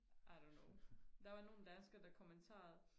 i dont know der var nogle danskere der kommenterede